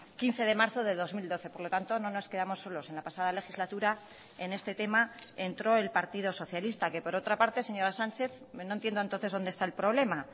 quince de marzo de dos mil doce por lo tanto no nos quedamos solos en la pasada legislatura en este tema entró el partido socialista que por otra parte señora sánchez no entiendo entonces donde está el problema